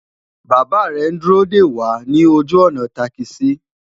bàbá rè n dúró dé wà nì ojú ònà takisi